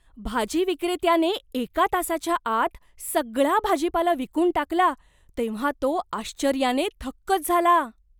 भाजी विक्रेत्याने एका तासाच्या आत सगळा भाजीपाला विकून टाकला तेव्हा तो आश्चर्याने थक्कच झाला.